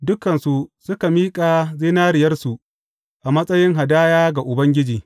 Dukansu suka miƙa zinariyarsu a matsayin hadaya ga Ubangiji.